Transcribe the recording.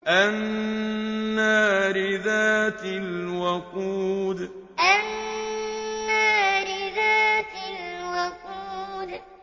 النَّارِ ذَاتِ الْوَقُودِ النَّارِ ذَاتِ الْوَقُودِ